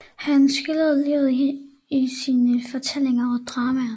Han skildrede livet her i sine fortællinger og dramaer